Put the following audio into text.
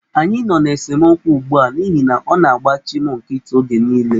Anyị nọ n'esemokwu ugbu a n'ihi na ọ na-agbachị m nkịtị oge niile.